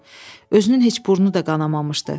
Özünün heç burnu da qanamamışdı.